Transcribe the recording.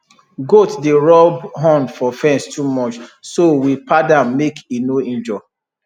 goat dey rub horn for fence too much so we pad am make e no injure